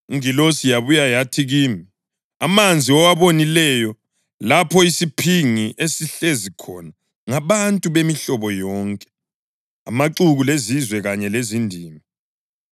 Ingilosi yabuya yathi kimi, “Amanzi owabonileyo lapho isiphingi esihlezi khona ngabantu bemihlobo yonke, amaxuku lezizwe kanye lezindimi.